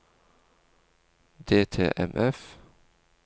DTMF